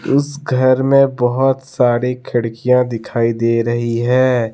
इस घर में बहोत सारे खिड़कियां दिखाई दे रही है।